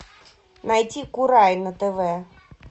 найти курай на тв